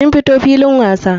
Mun fito filin wasa.